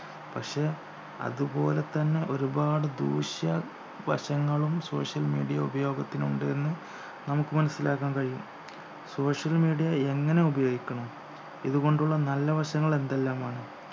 പക്ഷെ അതുപോലെതന്നെ ഒരുപാട് ദൂഷ്യ വശങ്ങളും social media ഉപയോഗത്തിനുണ്ട് എന്ന് നമുക്ക് മനസിലാക്കാൻ കഴിയും social media എങ്ങനെ ഉപയോഗിക്കണം ഇതുകൊണ്ടുള്ള നല്ല വശങ്ങൾ എന്തെല്ലാമാണ്